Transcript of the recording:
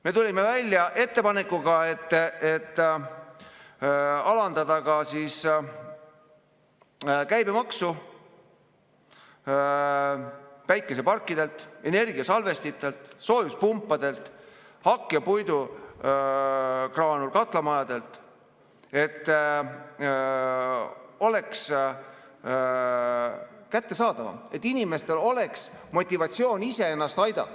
Me tulime välja ettepanekuga, et alandada käibemaksu päikeseparkidel, energiasalvestitel, soojuspumpadel, hakkepuidu-graanuli katlamajadel, et see oleks kättesaadavam, et inimestel oleks motivatsiooni ise ennast aidata.